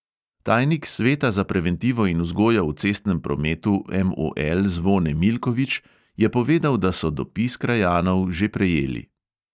Tajnik sveta za preventivo in vzgojo v cestnem prometu MOL zvone milkovič je povedal, da so dopis krajanov že prejeli.